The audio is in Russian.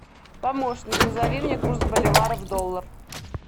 помощник назови мне курс боливара в доллар